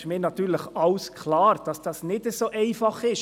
Es ist mir natürlich klar, dass das alles nicht so einfach ist.